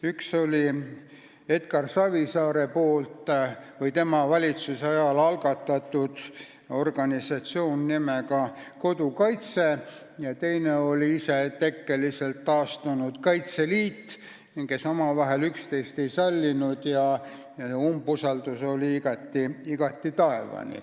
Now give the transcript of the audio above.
Üks oli Edgar Savisaare poolt või tema valitsuse ajal algatatud organisatsioon nimega Kodukaitse ja teine oli isetekkeliselt taastunud Kaitseliit, kes teineteist ei sallinud, umbusaldus oli taevani.